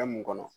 Fɛn mun kɔnɔ